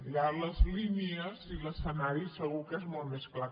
allà les línies i l’escenari segur que són més clars